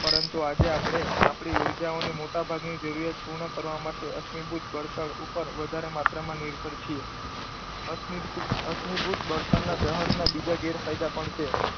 પરંતુ આજે આપણે આપણી ઉર્જાઓની મોટાભાગની જરૂરિયાત પૂર્ણ કરવા માટે અશ્મિભૂત બળતણ ઉપર વધારે માત્રામાં નિર્ભર છીએ. અશ્મિભૂત બળતણના દહનના બીજા ગેરફાયદા પણ છે.